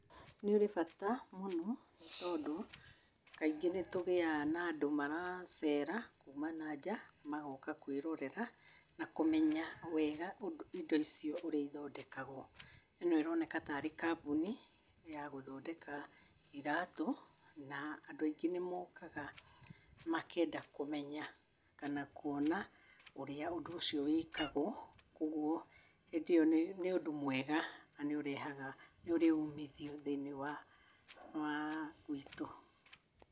Nĩ ũrĩ bata mũno tondũ kaingĩ nĩtũgĩaga na andũ maracera kuma na nja magoka kwĩrorera nakũmenya wega indo icio ũrĩa ithondekagwo. Ĩno ĩroneka ta arĩ kambuni ya gũthondeka iratũ, na andũ aingĩ nĩmokaga makenda kũmenya kana kuona ũrĩa ũndũ ũcio wĩkagwo, ũguo nĩ ũndũ mwega na nĩũrĩ umithio tnĩinĩ wa ah bũrũri witũ.